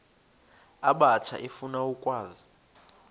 abatsha efuna ukwazi